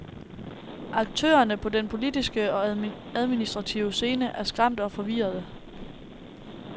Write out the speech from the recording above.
Aktørerne på den politiske og administrative scene er skræmte og forvirrede.